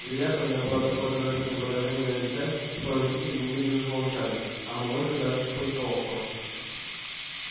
вероятно у меня было такое торжественное выражение на лице что родители немедленно замолчали а мамулька даже тихонько охнула